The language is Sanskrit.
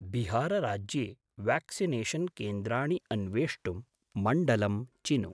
बिहार् राज्ये व्याक्सिनेषन् केन्द्राणि अन्वेष्टुं मण्डलं चिनु।